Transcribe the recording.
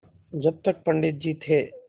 जब तक पंडित जी थे